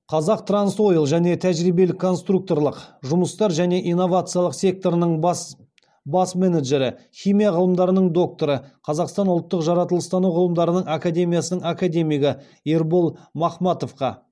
қазақтрансойл және тәжірибелік конструкторлық жұмыстар және инновациялық секторының бас менеджері химия ғылымдарының докторы қазақстан ұлттық жаратылыстану ғылымдарының академиясының академигі ербол махматовқа